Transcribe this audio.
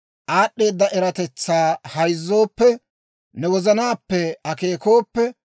aad'd'eedda eratetsaa hayzzooppe, ne wozanaappe akeekooppe,